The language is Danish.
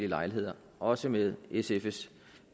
lejligheder også med sfs